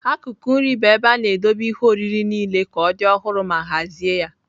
Akụkụ nri bụ ebe a na-edobe ihe oriri niile ka ọ dị ọhụrụ ma hazie ya.